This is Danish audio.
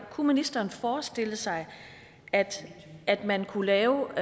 kunne ministeren forestille sig at at man kunne lave